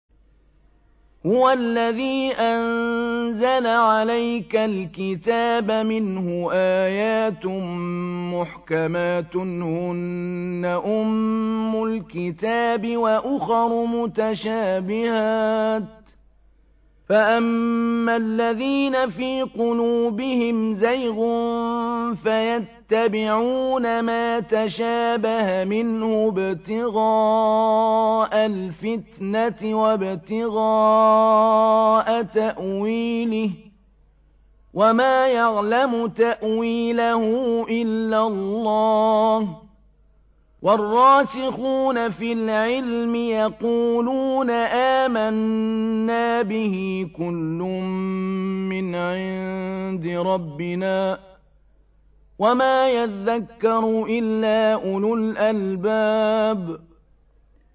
هُوَ الَّذِي أَنزَلَ عَلَيْكَ الْكِتَابَ مِنْهُ آيَاتٌ مُّحْكَمَاتٌ هُنَّ أُمُّ الْكِتَابِ وَأُخَرُ مُتَشَابِهَاتٌ ۖ فَأَمَّا الَّذِينَ فِي قُلُوبِهِمْ زَيْغٌ فَيَتَّبِعُونَ مَا تَشَابَهَ مِنْهُ ابْتِغَاءَ الْفِتْنَةِ وَابْتِغَاءَ تَأْوِيلِهِ ۗ وَمَا يَعْلَمُ تَأْوِيلَهُ إِلَّا اللَّهُ ۗ وَالرَّاسِخُونَ فِي الْعِلْمِ يَقُولُونَ آمَنَّا بِهِ كُلٌّ مِّنْ عِندِ رَبِّنَا ۗ وَمَا يَذَّكَّرُ إِلَّا أُولُو الْأَلْبَابِ